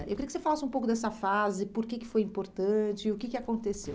Eh eu queria que você falasse um pouco dessa fase, por que que foi importante e o que que aconteceu.